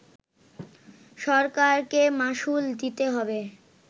সরকারকে মাশুল দিতে হবে